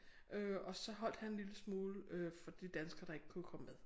Øh og så holdt han lille smule øh for de danskere der ikke kunne komme med